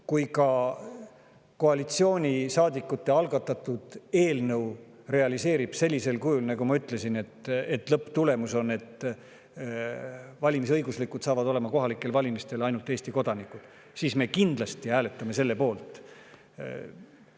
Kui koalitsioonisaadikute algatatud eelnõu realiseerub sellisel kujul, nagu ma ütlesin, et lõpptulemusena on kohalikel valimistel valimisõigus ainult Eesti kodanikel, siis me kindlasti hääletame selle poolt.